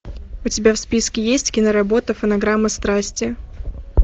у тебя в списке есть киноработа фонограмма страсти